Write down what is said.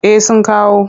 Eh sun kawo.